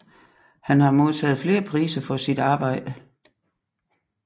Han har modtaget flere priser for sit arbejde